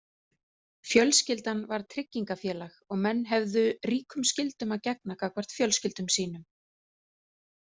Fjölskyldan var tryggingafélag og menn höfðu ríkum skyldum að gegna gagnvart fjölskyldum sínum.